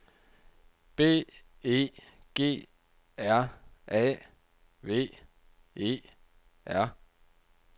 B E G R A V E R